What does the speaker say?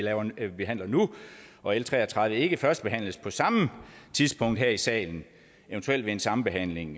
behandler nu og l tre og tredive ikke førstebehandles på samme tidspunkt her i salen eventuelt ved en sambehandling